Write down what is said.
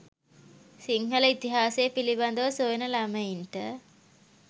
සිංහල ඉතිහාසය පිළිබදව සොයන ළමයින්ට